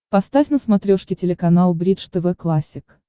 поставь на смотрешке телеканал бридж тв классик